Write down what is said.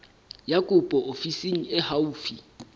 ya kopo ofising e haufi